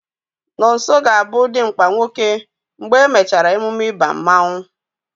Nonso ga-abụ dimkpa nwoke mgbe e mechara emume ịba mmanụ